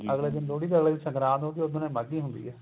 ਅਗਲੇ ਦਿਨ ਲੋਹੜੀ ਤੋ ਅਗਲੇ ਦਿਨ ਸੰਗਰਾਂਦ ਹੁੰਦੀ ਏ ਉਸ ਦਿਨ ਈ ਮਾਘੀ ਹੁੰਦੀ ਏ